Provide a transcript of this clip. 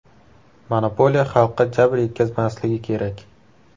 Monopoliya xalqqa jabr yetkazmasligi kerak.